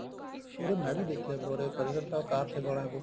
ਯਾਰ ਇਹ ਮੈਂ ਵੀ ਦੇਖਿਆ ਫਤਿਹਗੜ੍ਹ ਸਾਹਿਬ ਕਾਰ ਸੇਵਾ ਵਾਲਿਆਂ ਕੋਲ